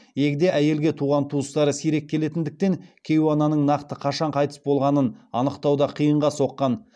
егде әйелге туған туыстары сирек келетіндіктен кейуананың нақты қашан қайтыс болғанын анықтау да қиынға соққан